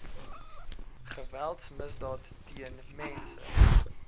geweldsmisdaad teen mense